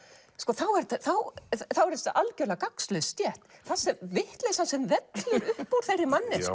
þá er þá er þetta algjörlega gagnslaus stétt vitleysan sem vellur upp upp úr þeirri manneskju það